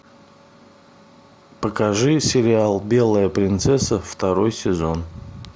покажи сериал белая принцесса второй сезон